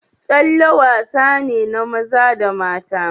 Tsalle wasane na maza da mata.